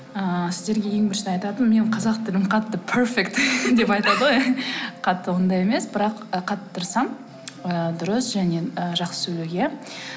ы сіздерге ең бірінші айтатыным менің қазақ тілім қатты перфект деп айтады ғой қатты ондай емес бірақ қатты тырысамын ыыы дұрыс және ы жақсы сөйлеуге